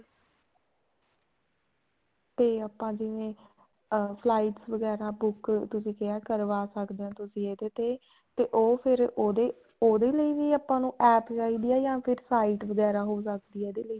ਤੇ ਆਪਾਂ ਜਿਵੇਂ flights ਵਗੈਰਾ book ਤੁਸੀਂ ਕਿਹਾ ਤੂੰ ਕਰਵਾ ਸਕੇ ਹੋ ਇਹਦੇ ਤੇ ਤੇ ਉਹ ਫ਼ੇਰ ਉਹਦੇ ਉਹਦੇ ਲਈ ਵੀ ਆਪਾਂ ਨੂੰ APP ਚਾਹੀਦੀ ਆ ਜਾਂ ਫ਼ੇਰ site ਵਗੈਰਾ ਹੋ ਸਕਦੀ ਆ ਇਹਦੇ ਲਈ